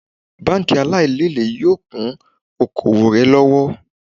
Bánkì aláìlele yóò kún oko òwò rẹ lọ́wọ́